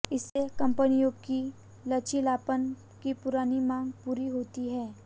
इससे कंपनियों की लचीलापन की पुरानी मांग पूरी होती है